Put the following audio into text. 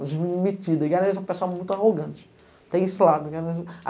As meninas metidas, eles eram um pessoal muito arrogante. Tem sei lá digamos